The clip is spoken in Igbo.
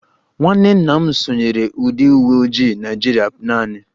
Nwanne nna m sonyeere ndị uwe ojii Naịjirịa naanị